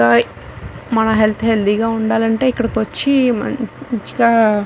మన health healthy గా ఉండాలంటే ఇక్కడికి వచ్చి మంచిగా --.